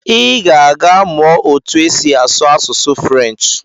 I ga-aga mụọ otu esi asụ asụsụ French.